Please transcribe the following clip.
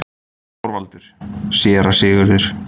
ÞORVALDUR: Séra Sigurður!